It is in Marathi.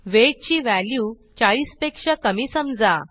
वेट ची व्हॅल्यू 40पेक्षा कमी समजा